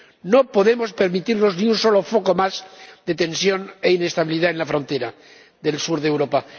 No podemos permitirnos ni un solo foco más de tensión e inestabilidad en la frontera del sur de Europa.